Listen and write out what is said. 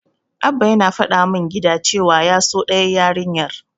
Abba yana faɗa min gida cewa ya so ɗayar yarinyar.